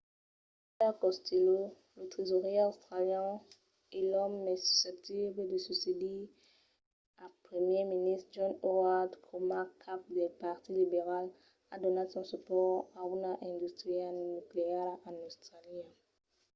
peter costello lo tresaurièr australian e l'òme mai susceptible de succedir al primièr ministre john howard coma cap del partit liberal a donat son supòrt a una industria nucleara en austràlia